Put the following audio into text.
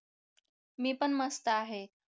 मी पण मस्त आहे